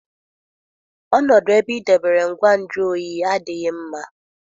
Ọnọdụ ebe ị debere ngwa nju oyi adịghị mma.